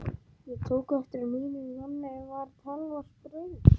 Ég tók eftir að mínum manni var talsvert brugðið.